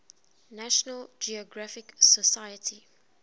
national geographic society